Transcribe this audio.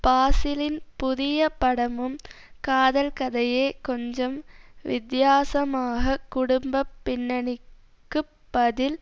பாசிலின் புதிய படமும் காதல் கதையே கொஞ்சம் வித்தியாசமாக குடும்ப பின்னணிக்குப் பதில்